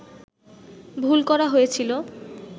ভুল করা হয়েছিল